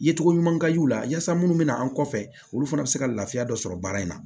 Yecogo ɲuman ka y'u la yaasa minnu bɛna an kɔfɛ olu fana bɛ se ka lafiya dɔ sɔrɔ baara in na